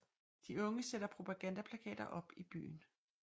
De unge sætter propagandaplakater op i byen